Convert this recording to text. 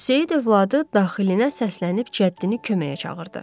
Seyid övladı daxilinə səslənib cəddini köməyə çağırdı.